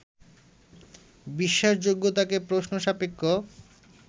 বিশ্বাসযোগ্যতাকে প্রশ্ন-সাপেক্ষ